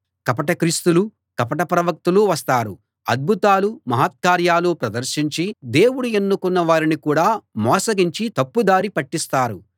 కపట క్రీస్తులు కపట ప్రవక్తలు వస్తారు అద్భుతాలు మహత్కార్యాలు ప్రదర్శించి దేవుడు ఎన్నుకున్న వారిని కూడా మోసగించి తప్పు దారి పట్టిస్తారు